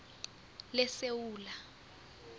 lesewula